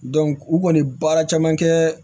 u kɔni bɛ baara caman kɛ